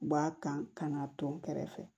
U b'a kan ka na tɔn kɛrɛ fɛ